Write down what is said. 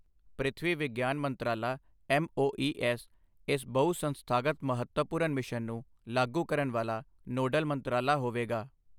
ਪ੍ਰਿਥਵੀ ਵਿਗਿਆਨ ਮੰਤਰਾਲਾ ਐੱਮਓਈਐੱਸ ਇਸ ਬਹੁ ਸੰਸਥਾਗਤ ਮਹੱਤਵਪੂਰਨ ਮਿਸ਼ਨ ਨੂੰ ਲਾਗੂ ਕਰਨ ਵਾਲਾ ਨੋਡਲ ਮੰਤਰਾਲਾ ਹੋਵੇਗਾ।